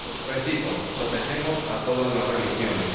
Repito protegemos a todas las religiones.